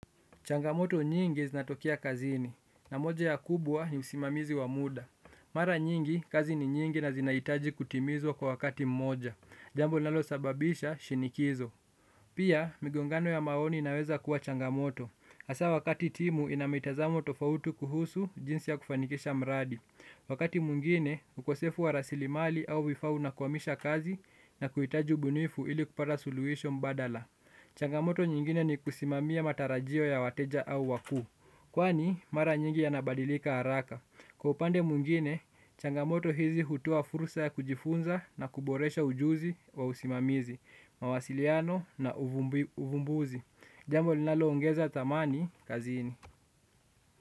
Changamoto nyingi zinatokea kazini, na moja ya kubwa ni usimamizi wa muda. Mara nyingi, kazi ni nyingi na zinahitaji kutimizwa kwa wakati mmoja. Jambo linalo sababisha shinikizo. Pia, migongano ya maoni inaweza kuwa changamoto. Hasa wakati timu inamitazamo tofauti kuhusu jinsi ya kufanikisha mradi. Wakati mwingine, ukosefu warasli mali au vifaa una kwamisha kazi na kuhitaji ubunifu ili kupata suluhisho badala. Changamoto nyingine ni kusimamia matarajio ya wateja au wakuu. Kwani mara nyingi yanabadilika haraka. Kwa upande mwingine, changamoto hizi hutoa fursa ya kujifunza na kuboresha ujuzi wa usimamizi, mawasiliano na uvumbuzi. Jambo linalo ongeza thamani kazini.